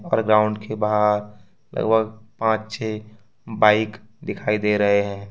और ग्राउंड के बाहर लगभग पांच छै बाइक दिखाई दे रहे हैं।